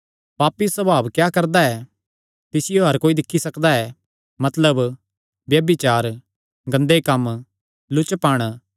पापी सभाव क्या करदा ऐ तिसियो हर कोई दिक्खी सकदा ऐ मतलब ब्यभिचार गंदे कम्म लुचपण